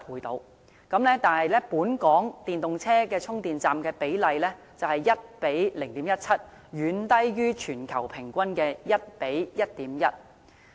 但是，本港電動車與充電站的比例卻是 1：0.17， 遠低於全球平均的 1：1.1。